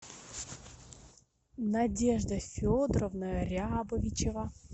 надежда федоровна рябовичева